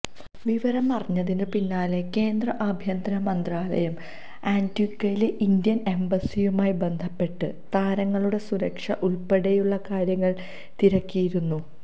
വിവരമറിഞ്ഞതിന് പിന്നാലെ കേന്ദ്ര അഭ്യന്തര മന്ത്രാലയം ആന്റിഗ്വയിലെ ഇന്ത്യൻ എംബസിയുമായി ബന്ധപ്പെട്ട് താരങ്ങളുടെ സുരക്ഷ ഉൾപ്പടെയുള്ള കാര്യങ്ങൾ തിരക്കിയിരുന്നു